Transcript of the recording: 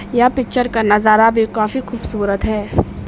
यह पिक्चर का नजारा भी काफी खूबसूरत है।